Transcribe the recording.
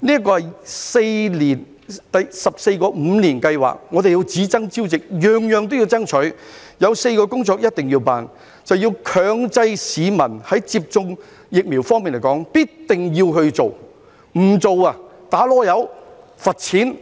這是第十四個五年計劃，我們要只爭朝夕，甚麼也要爭取，有4項工作一定要做，就是要強制市民接種疫苗，必定要他們做，不做要"打籮柚"、罰錢